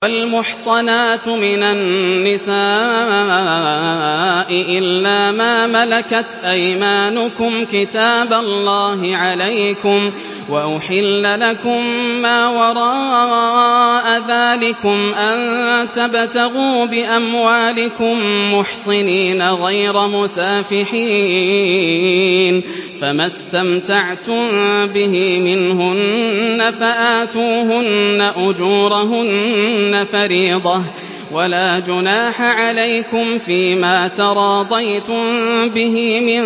۞ وَالْمُحْصَنَاتُ مِنَ النِّسَاءِ إِلَّا مَا مَلَكَتْ أَيْمَانُكُمْ ۖ كِتَابَ اللَّهِ عَلَيْكُمْ ۚ وَأُحِلَّ لَكُم مَّا وَرَاءَ ذَٰلِكُمْ أَن تَبْتَغُوا بِأَمْوَالِكُم مُّحْصِنِينَ غَيْرَ مُسَافِحِينَ ۚ فَمَا اسْتَمْتَعْتُم بِهِ مِنْهُنَّ فَآتُوهُنَّ أُجُورَهُنَّ فَرِيضَةً ۚ وَلَا جُنَاحَ عَلَيْكُمْ فِيمَا تَرَاضَيْتُم بِهِ مِن